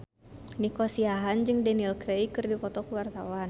Nico Siahaan jeung Daniel Craig keur dipoto ku wartawan